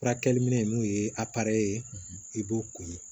Furakɛli minɛn n'o ye ye i b'o ko ye